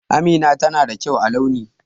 Amina tana da kyau a launi.